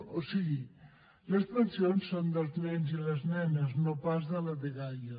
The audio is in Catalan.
o sigui les pensions són dels nens i les nenes no pas de la dgaia